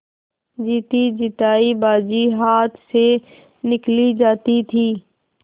जीतीजितायी बाजी हाथ से निकली जाती थी